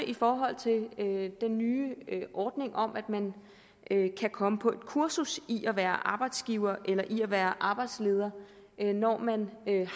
i forhold til den nye ordning om at man kan komme på et kursus i at være arbejdsgiver eller i at være arbejdsleder når man